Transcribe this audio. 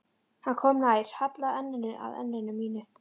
Hann kom nær, hallaði enninu að enni mínu.